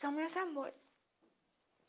São meus amores.